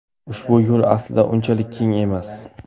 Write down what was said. Ushbu yo‘l aslida unchalik keng emas.